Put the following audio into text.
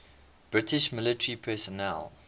british military personnel